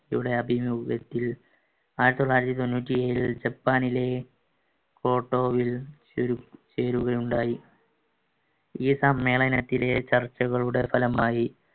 ഇവിടെ ആയിരത്തി തൊള്ളായിരത്തി തൊണ്ണൂറ്റി ഏഴിൽ ജപ്പാനിലെ ഓട്ടോവിൽ ചേരുകയുണ്ടായി ഈ സമ്മേളനത്തിലെ ചർച്ചകളുടെ ഫലമായി